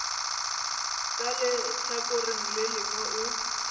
ka lehlakoreng le lengwe o